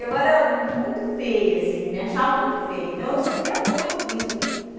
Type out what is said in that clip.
Eu era muito feia assim, me achava muito feia, então eu sofria muito com isso.